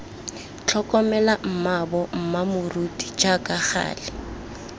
tlhokomele mmaabo mmamoruti jaaka gale